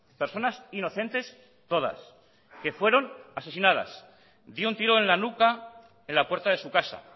personas inocentes todas que fueron asesinadas de un tiro en la nuca en la puerta de su casa